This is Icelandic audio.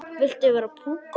Viltu vera púkó?